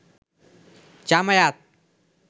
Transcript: Jamaat